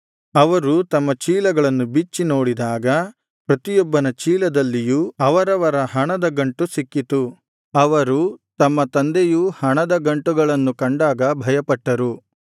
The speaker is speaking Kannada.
ಅವರು ತಮ್ಮ ಚೀಲಗಳನ್ನು ಬಿಚ್ಚಿ ನೋಡಿದಾಗ ಪ್ರತಿಯೊಬ್ಬನ ಚೀಲದಲ್ಲಿಯೂ ಅವರವರ ಹಣದ ಗಂಟು ಸಿಕ್ಕಿತು ಅವರು ಅವರ ತಂದೆಯೂ ಹಣದ ಗಂಟುಗಳನ್ನು ಕಂಡಾಗ ಭಯಪಟ್ಟರು